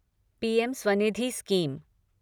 PM Svanidhi scheme